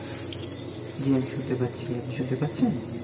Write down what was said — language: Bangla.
জী আমি শুনতে পাচ্ছি আপনি শুনতে পাচ্ছেন?